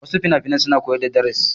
Wasu finafinai suna koyar da darasi.